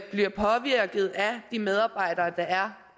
de medarbejdere der er